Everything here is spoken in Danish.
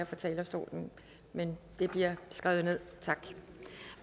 fra talerstolen men det bliver skrevet ned tak